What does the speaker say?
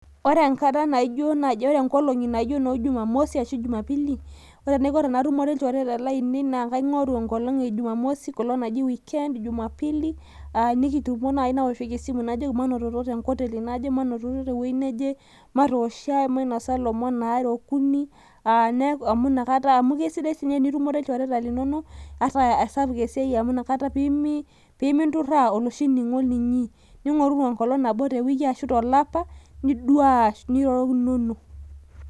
ore enkata naijo naaiji, ore nkolong'i naijo ine jumamosi ashu jumapili, ore enaiko tenatumore ilchoreta laainei, naa kaing'oru enkolong' ejumamosi, enkolong' naji weekend jumapili. nikitumo naaji naosesimu najoki manototo te nkoteli naje, manototo tewueji naje, matook sahi, mainosa lomon aare ashu okuni. amu inakata, amu esidai doi tenitumore ilchoreta linonok ata aasapuk esiai amu inakata, pee minturaa oloshi ning'o linyi. ning'orru enkolong' te wiki ashu tolapa, lidaa ashu irorokinono.